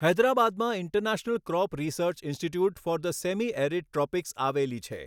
હૈદરાબાદમાં International Crop Research Institute for the Semi Arid Tropics આવેલી છે.